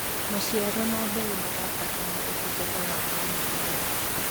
maciaro ma mboga marabatara utungata wa o mũthenya